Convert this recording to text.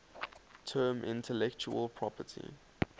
term intellectual property